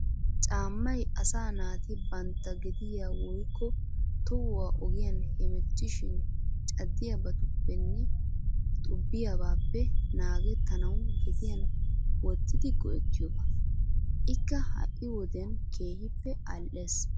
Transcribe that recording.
Caammay asaa naati bantta gediya woykko tohuwa ogiyan hemwttishin caddiyabaappenne xubbiyabaappe naagettanawu gediyan wottidi go'ettiyoba. Ikka ha"i wodiyan keehippe al"ees.